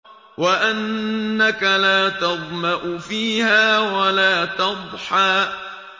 وَأَنَّكَ لَا تَظْمَأُ فِيهَا وَلَا تَضْحَىٰ